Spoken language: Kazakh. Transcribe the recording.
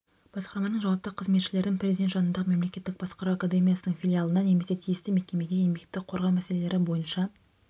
басқарманың жауапты қызметшілерін президент жанындағы мемлекеттік басқару академиясының филиалына немесе тиісті мекемеге еңбекті қорғау мәселелері бойынша